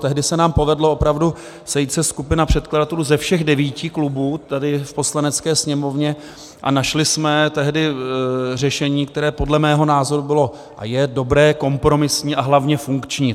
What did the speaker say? Tehdy se nám povedlo opravdu sejít se, skupina předkladatelů ze všech devíti klubů tady v Poslanecké sněmovně, a našli jsme tehdy řešení, které podle mého názoru bylo a je dobré kompromisní, a hlavně funkční.